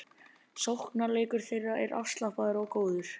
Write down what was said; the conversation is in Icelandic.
Sóknarleikur þeirra er afslappaður og góður